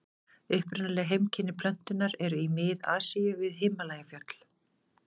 Upprunaleg heimkynni plöntunnar eru í Mið-Asíu og við Himalajafjöll.